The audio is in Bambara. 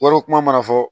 Yɔrɔ kuma mana fɔ